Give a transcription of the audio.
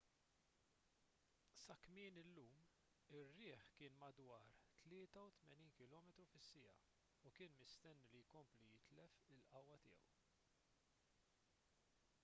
sa kmieni llum ir-riħ kien madwar 83 km/h u kien mistenni li jkompli jitlef il-qawwa tiegħu